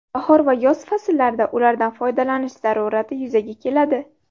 Bahor va yoz fasllarida ulardan foydalanish zarurati yuzaga keladi.